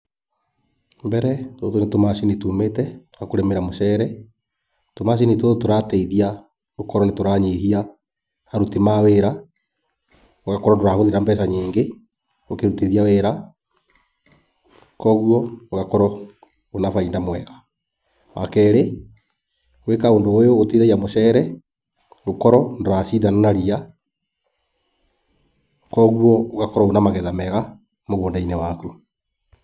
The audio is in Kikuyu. Mbere tũtũ nĩ tũmacini tumĩte twa kũrĩmĩra mũcere, tũmacini tũtũ tũratreithia gũkorwo nĩ tũranyihia aruti ma wĩra. Ũgakorwo ndũrahũthĩra mbeca nyingĩ ũkĩrutithia wĩra. Koguo ũgakorwo wĩna bainda mwega. Wa kerĩ, gwĩka ũndũ ũyũ gũteithagia mũcere gũkorwo ndũracindana na ria, koguo ũgakorwo wĩ na magetha mega mũgũnda-inĩ waku.